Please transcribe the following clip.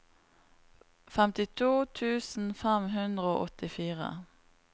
femtito tusen fem hundre og åttifire